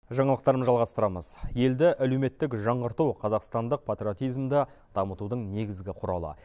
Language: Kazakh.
жаңалықтарымызды жалғастырамыз елді әлеуметтік жаңғырту қазақстандық патриотизмді дамытудың негізгі құралы